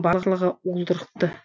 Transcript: барлығы уылдырықты